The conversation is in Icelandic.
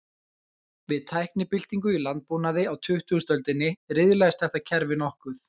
Við tæknibyltingu í landbúnaði á tuttugustu öldinni, riðlaðist þetta kerfi nokkuð.